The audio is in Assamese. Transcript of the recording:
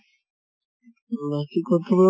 বাকী কতোবা